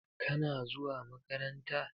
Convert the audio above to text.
Kana zuwa makaranta?